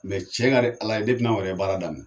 cɛn ka di ala ye anw yɛrɛ ye baara daminɛ